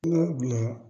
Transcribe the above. N ka bila